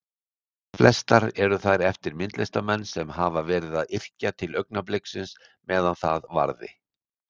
Flestar eru þær eftir myndlistarmenn sem hafa verið að yrkja til augnabliksins meðan það varði.